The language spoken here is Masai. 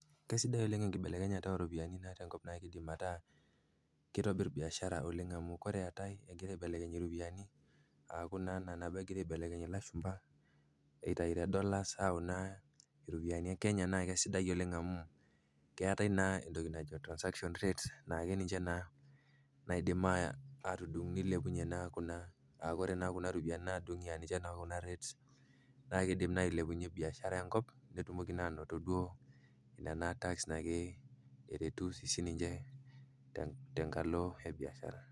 Kesidai oleng enkibelekenyata oropiyiani tenkop naa keidim ataa keitobir biashara naa oleng amuu oore eetae egire aiblekeny iropiyiani, aaku naa iina peyie egirae aibelekeny ilashumba, eitau te[csDollars ayau naa iropiyiani e Kenya naa kaisidai oleng amuu keeetae naa entioki naajo Transaction Rates naa ninche naa naidim atudung neilepunyie naa kuna aa oore naa kuna ropiyiani naa nadung'i aah ninche naa kuna rates naa keidim naa ailepunyie biashara enkiop, peyie etumoki naa anoto duo nena tax naake eretu sininche tenkalo e biashara.